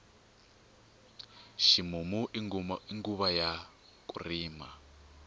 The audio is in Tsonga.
ximumu i nguva ya ku rima